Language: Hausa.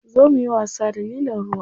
Zo muyi wasa da lilon ruwa.